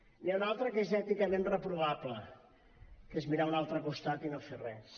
n’hi ha una altra que és èticament reprovable que és mirar a un altre costat i no fer res